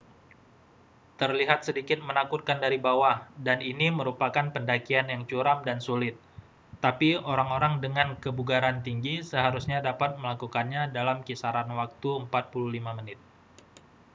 terlihat sedikit menakutkan dari bawah dan ini merupakan pendakian yang curam dan sulit tapi orang-orang dengan kebugaran tinggi seharusnya dapat melakukannya dalam kisaran waktu 45 menit